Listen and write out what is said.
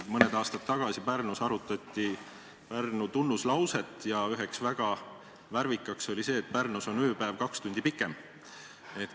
Mõni aasta tagasi arutati Pärnus Pärnu tunnuslauset ja üks väga värvikas oli see, et Pärnus on ööpäev kaks tundi pikem.